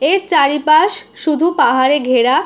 এর চারিপাশ শুধু পাহাড়া ঘেরা।